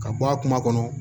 Ka bɔ a kuma kɔnɔ